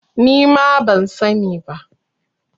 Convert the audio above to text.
Ni ma ban sani ba.